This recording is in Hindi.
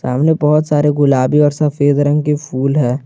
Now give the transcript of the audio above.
सामने बहुत सारे गुलाबी और सफेद रंग के फूल है।